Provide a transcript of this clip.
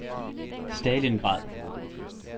Stalingrad